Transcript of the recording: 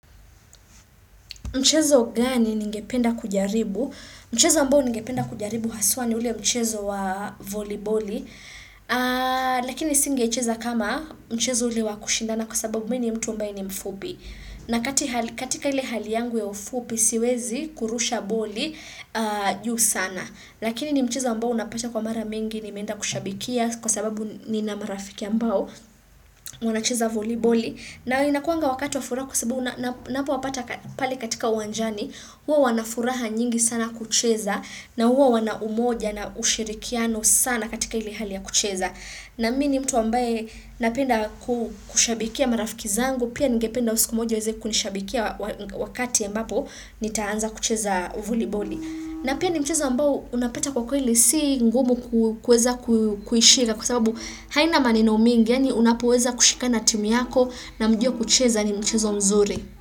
Mchezo gani ningependa kujaribu? Mchezo ambao ningependa kujaribu haswa ni ule mchezo wa voliboli, lakini singe cheza kama mchezo ule wa kushindana kwa sababu mi ni mtu ambae ni mfupi. Na katika ile hali yangu ya ufupi siwezi kurusha boli juu sana. Lakini ni mchezo mbao unapata kwa mara mengi nimeenda kushabikia kwa sababu nina marafiki ambao wanacheza voliboli na inakuanga wakati wa furaha kwa sababu unapowapata pale katika uwanjani huwa wana furaha nyingi sana kucheza na huo wana umoja na ushirikiano sana katika ile hali ya kucheza na mi ni mtu ambaye napenda kushabikia marafiki zangu Pia ngependa wao siku moja waweze kunishabikia wakati ya ambapo nitaanza kucheza voliboli. Na pia ni mchezo ambao unapata kwa kweli si ngumu kuweza kuishika kwa sababu haina maneno mingi yaani unapoweza kushikana na timu yako na mjue kucheza ni mchezo mzuri.